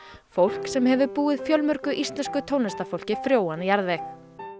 fólk sem hefur búið fjölmörgu íslensku tónlistarfólki frjóan jarðveg